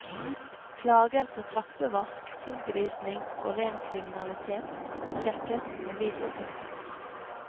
Klager på trappevask, tilgrising og ren kriminalitet, sjekkes med videotapen.